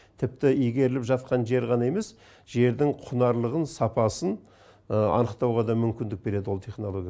тіпті игеріліп жатқан жер ғана емес жердің құнарлылығын сапасын анықтауға да мүмкіндік береді ол технология